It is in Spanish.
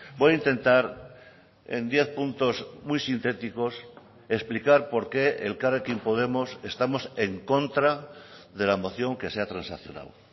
voy a intentar en diez puntos muy sintéticos explicar por qué elkarrekin podemos estamos en contra de la moción que se ha transaccionado